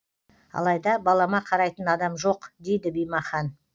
алайда балама қарайтын адам жоқ дейді бимахан